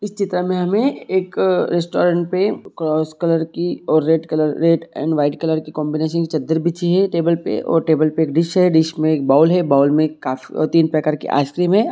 इस चित्र में हमे एक रेस्टोरेंट पे क्रॉस कलर की red colour red and white colour की कॉम्बिनेशन की चद्दर बिछी है टेबल पे और टेबल पे एक डिश है डिश में एक बाउल है बाउल में तीन प्रकार की आइस-क्रीम है।